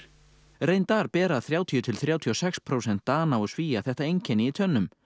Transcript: reyndar bera þrjátíu til þrjátíu og sex prósent Dana og Svía þetta einkenni í tönnum